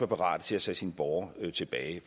parat til at tage sine borgere tilbage det